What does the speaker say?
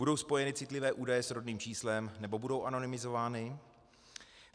Budou spojeny citlivé údaje s rodným číslem, nebo budou anonymizovány?